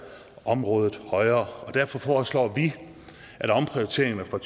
området højere derfor foreslår vi at omprioriteringerne fra